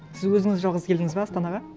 сіз өзіңіз жалғыз келдіңіз бе астанаға